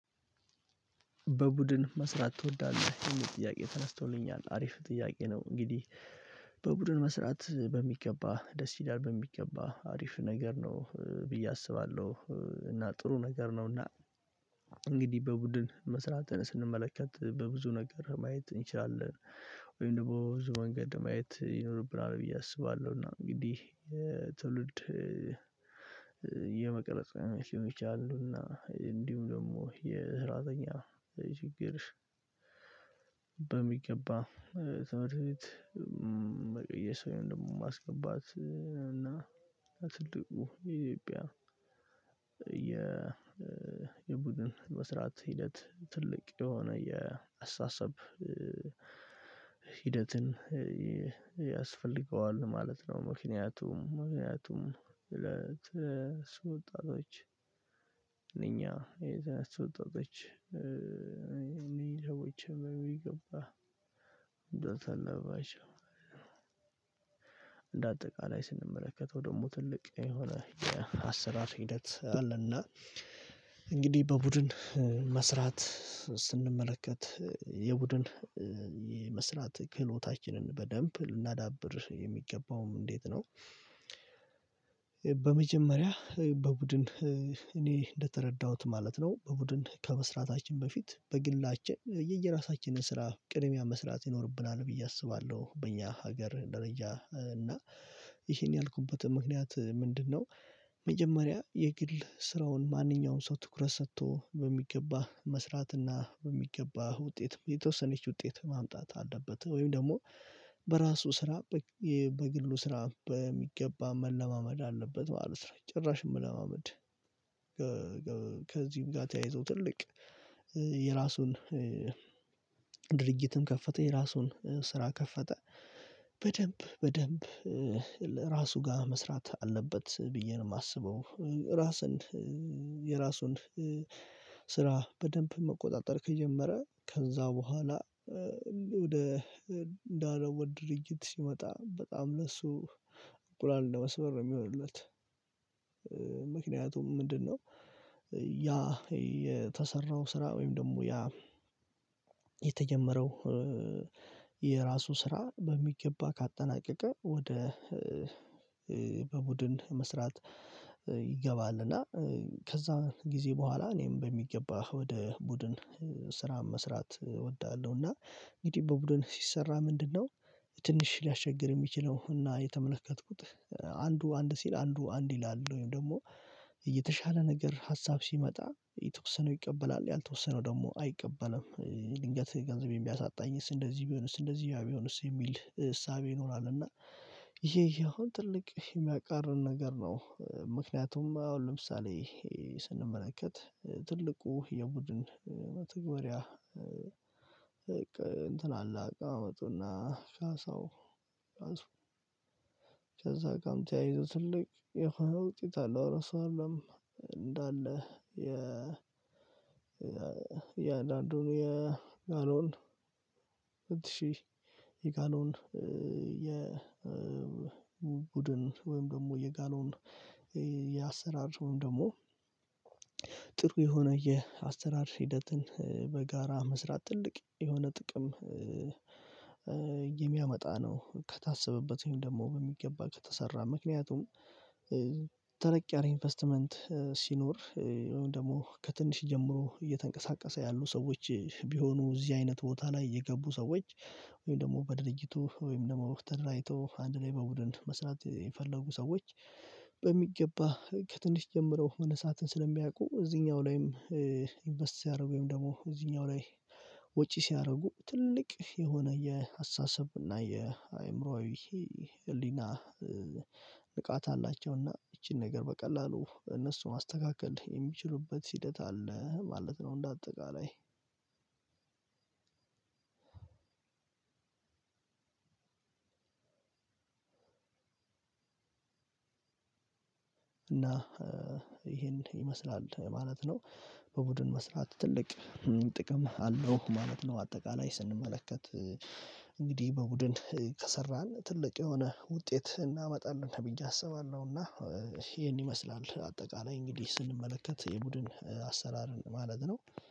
በቡድን መስራት ትወዳለህ ወይ? የሚል ጥያቄ ተነስቶልኛል አሪፍ ጥያቄ ነው እንግዲህ በቡድን መስራት በሚገባ ደስ ይላል በሚገባ አሪፍ ነገር ነው ብዬ አስባለሁ እና ጥሩ ነገር ነውና እንግዲህ በቡድን መስራትን ስንመለከት በብዙ ነገር ማየት እንችላለን ወይም ደግሞ ብዙ መንገድ ማየት ይኖርብናል ብዬ አስባለሁ እና እንግዲህ ትውልድ የመቅረጽ ሊሆን ይችላል እና እንዲሁ ደግሞ የሰራተኛ ችግር በሚገባ ትምህርት ቤት መቀየስ ደግሞ ማስገባት እና ትልቁ ኢትዮጵያ የ የቡድን መስራት ሂደት ትልቅ የሆነ የአስተሳሰብ ሂደትን ያስፈልገዋል ማለት ነው ምክንያቱም ምክንያቱም ለሱ ወጣቶች እኛ የሱ ወጣቶች ሰዎች የሚገባ እንደው ተለበባቸው አጠቃላይ ስንመለከተው ደግሞ ትልቅ የሆነ የአሰራር ሂደት አለና እንግዲህ በቡድን መስራት ስንመለከት የቡድን ክህሎታችንን በደንብ ልናዳብር የሚገባውም እንዴት ነው በመጀመሪያ በቡድን እኔ እንደተረዳሁት ማለት ነው በቡድን ከመስራታችን በፊት በግላችን የየራሳችንን ስራ ቅድሚያ መስራት ይኖርብናል ብዬ አስባለሁ በእኛ ሀገር ደረጃ እና ይሄን ያልኩበት ምክንያት ምንድነው መጀመሪያ የግል ስራውን ማንኛውንም ሰው ትኩረት ሰጥቶ በሚገባ መስራትና በሚገባ ውጤት የተወሰነች ውጤት ማምጣት አለበት ወይም ደግሞ በራሱ ስራ በግሉ ስራ በሚገባ መለማመድ አለበት ማለት ነው ጭራሽ መለማመድ ከዚህም ጋር ተያይዞ ትልቅ የራሱን ድርጅትም ከፈተ የራሱን ስራ ከፈተ በደንብ በደንብ ራሱ ጋር መስራት አለበት ብዬ ነው የማስበው ራስን የራሱን ስራ በደንብ መቆጣጠር ከጀመረ ከዛ በኋላ ወደ እንዳለው ወደ ድርጅት ሲመጣ በጣም ለእሱ እንቁላል እንደመስበር ነው የሚሆንለት ምክንያቱም ምንድነው ያ የተሰራው ስራ ወይም ደግሞ ያ የተጀመረው የራሱ ስራ በሚገባ ካጠናቀቀ ወደ በቡድን መስራት ይገባልና ከዛ ጊዜ በኋላ እኔም በሚገባ ወደ ቡድን ስራ መስራት እወዳለሁ እና እንግዲህ በቡድን ሲሰራ ምንድነው ትንሽ ሊያስቸግር የሚችለው እና የተመለከትኩት አንዱ አንድ ሲል አንዱ አንድ ይላሉ ወይም ደግሞ የተሻለ ነገር ሀሳብ ሲመጣ የተወሰነው ይቀበላል ያልተወሰነው ደግሞ አይቀበልም ድንገት ገንዘቤን ቢያሳጣኝስ እንደዚህ ቢሆንስ እንደዚህ ቢሆንስ የሚል እሳቤ ይኖራል እና ይሄ ያው ትልቅ የሚያቃርን ነገር ነው ምክንያቱም አሁን ለምሳሌ ስንመለከት ትልቁ የቡድን መተግበሪያ እንትን አላውቅም አመጡና ሻሳው ራሱ ከዛ ጋር ተያይዞ ትልቅ የሆነ ውጪ ታላቅ ራሱ አይደለም እንዳለ የ የአንዳንዱን የጋኖን እንድትሽ የጋኖን የ ቡድን ወይም ደግሞ የጋሎን የአሰራር ሰውም ደግሞ የሆነ የአሰራር ሂደትን በጋራ መስራት ትልቅ የሆነ ጥቅም የሚያመጣ ነው ከታሰበበት ወይም ደግሞ በሚገባ ከተሰራ ምክንያቱም ኢንቨስትመንት ሲኖር ወይም ደግሞ ከትንሽ ጀምሮ እየተንቀሳቀሰ ያሉ ሰዎች ቢሆኑ እዚህ አይነት ቦታ ላይ የገቡ ሰዎች ወይም ደግሞ በድርጅቱ ወይም ደግሞ ተደራጅቶ አንድ ላይ በቡድን መስራት የፈለጉ ሰዎች በሚገባ ከትንሽ ጀምረው መነሳትን ስለሚያውቁ እዚህኛው ላይም ኢንቨስት ሲያደርጉ ወይም ደግሞ እዚህኛው ላይ ወጪ ሲያደርጉ ትልቅ የሆነ የአስተሳሰብ እና የአእምሮአዊ ህሊና ንቃት አላቸው እና ይቺን ነገር በቀላሉ እነሱን ማስተካከል የሚችሉበት ሂደት አለ ማለት ነው እንደ አጠቃላይ እና ይሄን ይመስላል ማለት ነው በቡድን መስራት ትልቅ ጥቅም አለው ማለት ነው አጠቃላይ ስንመለከት በቡድን ከሰራን ትልቅ የሆነ ውጤት እናመጣለን ብዬ አስባለሁና ይሄን ይመስላል አጠቃላይ እንግዲህ ስንመለከት የቡድን አሰራርን ማለት ነው